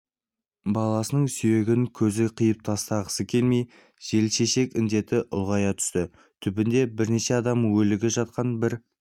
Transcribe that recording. баласының сүйегін көзі қиып тастағысы келмейді желшешек індеті ұлғая түсті түбінде бірнеше адамның өлігі жатқан бір